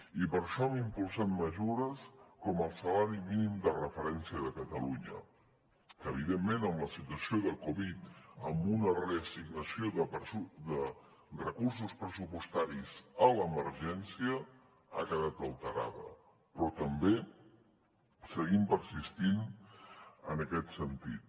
i per això hem impulsat mesures com el salari mínim de referència de catalunya que evidentment amb la situació de covid dinou amb una reassignació de recursos pressupostaris a l’emergència ha quedat alterada però també seguim persistint en aquest sentit